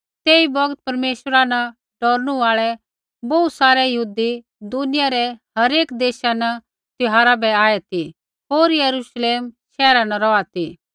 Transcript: तेई बौगत परमेश्वरा न डौरनू आल़ै बोहू सारै यहूदी दुनिया रै हरेक देशा न त्यौहारा बै आऐ ती होर यरूश्लेम शैहरा न रौहा ती